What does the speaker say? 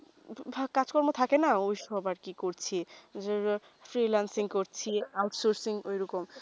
ধর কাজ কর্ম থাকে না ঐই সবার কি করছি freelancing করছি out sourcing এ ওইরকম